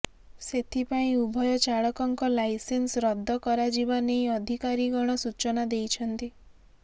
ସେଥିପାଇଁ ଉଭୟ ଚାଳକଙ୍କ ଲାଇସେନ୍ସ ରଦ୍ଦ କରାଯିବାନେଇ ଅଧିକାରୀଗଣ ସୂଚନା ଦେଇଛନ୍ତି